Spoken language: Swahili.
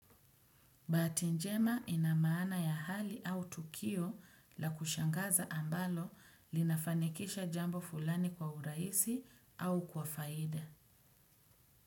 Bahati njema ina maana ya hali au tukio la kushangaza ambalo linafanikisha jambo fulani kwa urahisi au kwa faida.